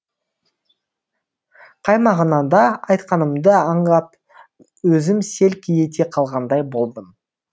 қай мағынада айтқанымды аңдап өзім селк ете қалғандай болдым